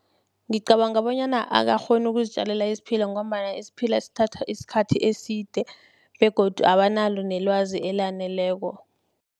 Ngicabanga bonyana akakghoni ukuzitjalela isiphila, ngombana isiphila sithatha isikhathi eside, begodu abanalo nelwazi elaneleko.